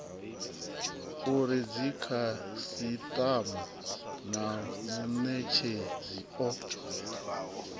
uri dzikhasitama na munetshedzi o